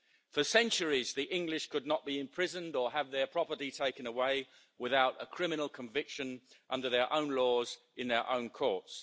For centuries the English could not be imprisoned or have their property taken away without a criminal conviction under their own laws in their own courts.